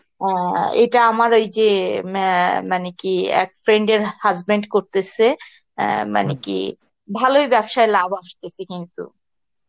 আ আ ইটা আমার ঐযে মা~ মানে কি friend এর husband করতেসে অ্যাঁ মানে কি ভালই ব্যবসায় লাভ আসতেসে কিন্তু